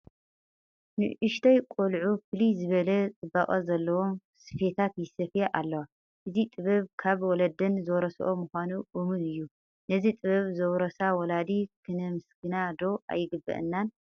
ንኡሽተያት ቆልዑ ፍልይ ዝበለ ፅባቐ ዘለዎም ስፈታት ይሰፍያ ኣለዋ፡፡ እዚ ጥበብ ካብ ወለደን ዝወረስኦ ምዃኑ እሙን እዩ፡፡ ነዚ ጥበብ ዘውረሳ ወለዲ ክምስገና ዶ ኣይግብአንን?